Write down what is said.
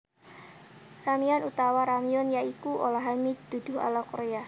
Ramyeon utawa Ramyun ya iku olahan mi duduh ala Korea